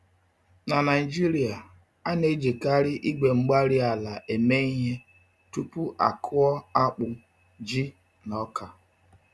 Na Naijiria, a na-ejikarị igwe-mgbárí-ala eme ihe tupu akụọ akpụ, ji, na ọka.